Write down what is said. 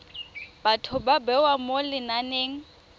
batho ba bewa mo lenaneng